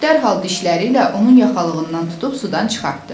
İt dərhal dişləri ilə onun yaxalığından tutub sudan çıxartdı.